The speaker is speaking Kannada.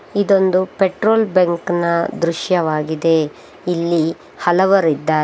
ಇದೊಂದು ಪೆಟ್ರೋಲ್ ಬಂಕ್ ನ ದೃಶ್ಯವಾಗಿದೆ ಇಲ್ಲಿ ಹಲವರಿದ್ದಾರೆ.